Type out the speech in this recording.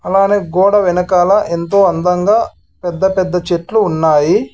అలానే గోడ వెనకాల ఎంతో అందంగా పెద్ద పెద్ద చెట్లు ఉన్నాయి.